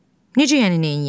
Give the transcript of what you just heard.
Necə yəni neyləyək?